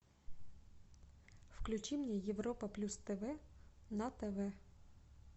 включи мне европа плюс тв на тв